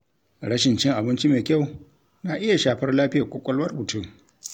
Rashin cin abinci mai kyau na iya shafar lafiyar ƙwaƙwalwar mutum.